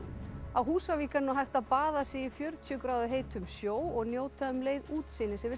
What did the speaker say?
á Húsavík er nú hægt að baða sig í fjörutíu gráðu heitum sjó og njóta um leið útsýnis yfir